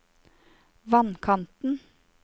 vannkanten